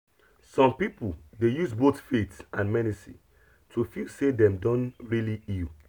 some people dey use both faith and medicine to feel say dem don really heal